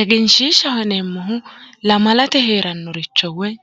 Egenshiishshaho yineemmohu lamalate heerannoricho woyi